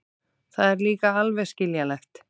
Það er líka alveg skiljanlegt.